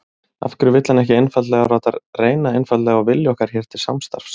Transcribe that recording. Af hverju vill hann ekki einfaldlega láta reyna einfaldlega á vilja okkar hér til samstarfs?